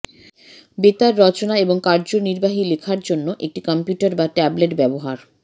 বেতার রচনা এবং কার্যনির্বাহী লেখার জন্য একটি কম্পিউটার বা ট্যাবলেট ব্যবহার